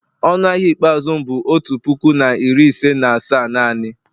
Ọnụ ahịa ikpeazụ m bụ otu puku na iri ise na asaa naanị